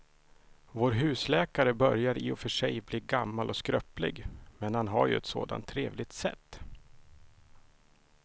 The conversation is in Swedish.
Vår husläkare börjar i och för sig bli gammal och skröplig, men han har ju ett sådant trevligt sätt!